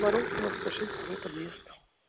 воровского сто шесть второй подъезд